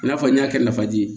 I n'a fɔ n y'a kɛ nafa de ye